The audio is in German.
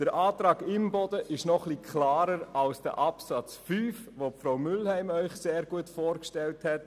Der Antrag Imboden ist noch etwas klarer als der Absatz 5 des Artikels 72, den Grossrätin Mühlheim Ihnen vorgestellt hat.